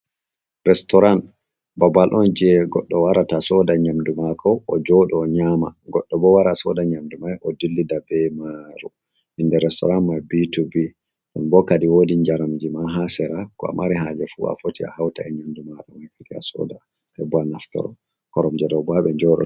Restoran, babal on je goɗɗo warata soda nyamdu maako ojoɗo o nyama, goɗɗo bo wara soda nyamdu may o dillida be mari. Inde resitoran p to p,. Ɗum bo kadin wodi njaram jima ha seraa, ko a mari haje fu a foti a hawta e nyamdu ma heɓa a soda a naftoro. Koromje ɗo bo ha ɓe njoɗo.